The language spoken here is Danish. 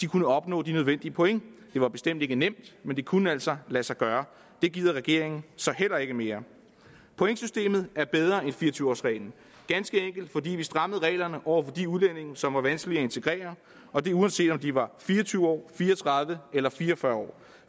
kunne opnå de nødvendige point det var bestemt ikke nemt men det kunne altså lade sig gøre det gider regeringen så heller ikke mere pointsystemet er bedre end fire og tyve års reglen ganske enkelt fordi vi strammede reglerne over for de udlændinge som var vanskelige at integrere og det uanset om de var fire og tyve år fire og tredive år eller fire og fyrre år